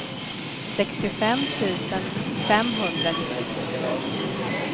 sextiofem tusen femhundranittiosju